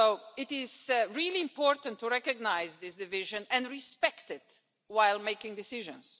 It is really important to recognise this division and respect it while making decisions.